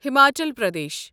Himachal Pradesh